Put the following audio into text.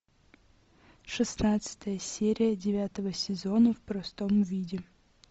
шестнадцатая серия девятого сезона в простом виде